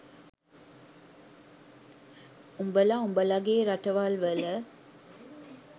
උඹල උඹලගේ රටවල් වල